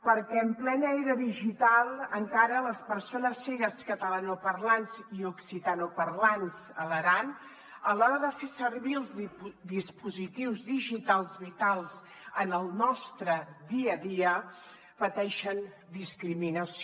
perquè en plena era digital encara les persones cegues catalanoparlants i occitanoparlants a l’aran a l’hora de fer servir els dispositius digitals vitals en el nostre dia a dia pateixen discriminació